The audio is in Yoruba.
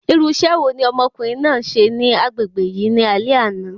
Irú isẹ́ wo ni ọmọkùnrin náà se ni agbègbè yìí ní alé àná?